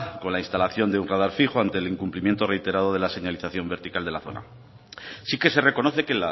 con la instalación de un radar fijo ante el incumplimiento reiterado de la señalización vertical de la zona sí que se reconoce que